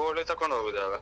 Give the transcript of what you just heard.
ಕೋಳಿ ತಕೊಂಡ್ ಹೋಗುದಲ.